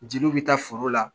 Jeliw bɛ taa foro la